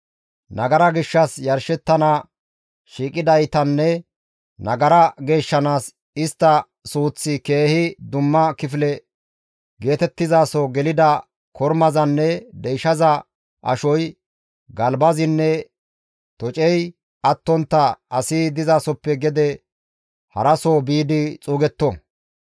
Nagara gishshas yarshettana shiiqidaytanne nagara geeshshanaas istta suuththi keehi dumma kifile geetettizaso gelida kormazanne deyshaza ashoy, galbazinne tocey attontta asi dizasoppe gede haraso biidi xuugetto.